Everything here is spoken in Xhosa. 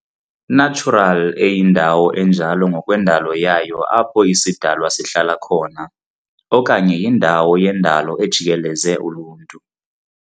natural eyindawo enjalo ngokwendalo yayo apho isidalwa sihlala khona, okanye yindawo yendalo ejikeleze uluntu.